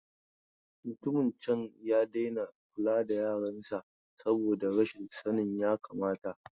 Mutumin can ya daina kula da yaran sa saboda rashin sanin yakamata.